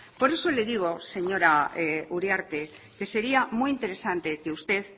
por eso le digo señora uriarte que sería muy interesante que usted